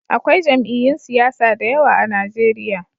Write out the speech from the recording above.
Akwai jami'yyun siyasa da yawa a Najeriya